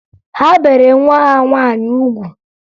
Ha bere nwa ha nwaanyị ugwu